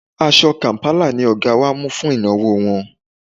Aṣọ kàm̀pálà ni Ọ̀ga wa mú fún ìnáwó wọn